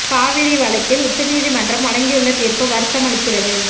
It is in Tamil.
காவிரி வழக்கில் உச்ச நீதி மன்றம் வழங்கியுள்ள தீர்ப்பு வருத்தம் அளிக்கிறது